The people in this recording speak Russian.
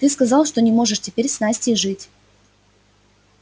ты сказал что не можешь теперь с настей жить